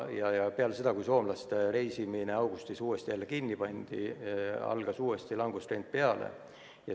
Ja peale seda, kui soomlaste reisimine augustis jälle kinni pandi, algas uuesti langustrend.